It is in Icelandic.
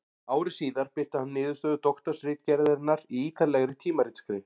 Ári síðar birti hann niðurstöður doktorsritgerðarinnar í ýtarlegri tímaritsgrein.